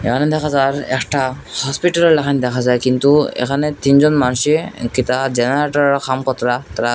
এখানে দেখা যায় একটা হসপিটাল রাখান দেখা যায় কিন্তু এখানে তিনজন মানুষে জেনারেটর --